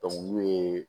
n'u ye